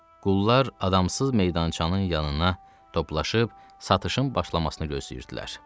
Qullar adamsız meydançanın yanına toplaşıb satışın başlamasını gözləyirdilər.